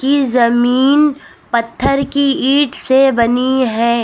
ई जमीन पत्थर की ईट से बनी है।